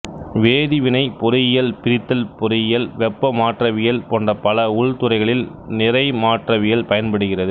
வேதிவினைப் பொறியியல் பிரித்தல் பொறியியல் வெப்ப மாற்றவியல் போன்ற பல உள் துறைகளில் நிறை மாற்றவியல் பயன்படுகிறது